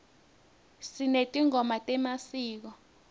sinetingoma temasiko